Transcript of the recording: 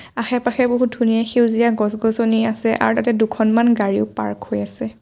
আশে-পাশে বহুত ধুনীয়া সেউজীয়া গছ-গছনি আছে আৰু তাতে দুখনমান গাড়ীও পাৰ্ক হৈ আছে।